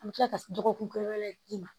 An bɛ tila ka dɔgɔkun kelen wɛrɛ d'i ma